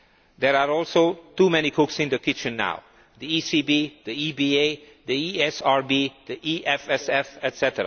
There are also too many cooks in the kitchen now the ECB, the EBA, the ESRB, the EFSF, etc.